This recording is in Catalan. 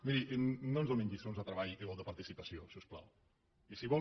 miri no ens donin lliçons de treball o de participació si us plau i si ho vol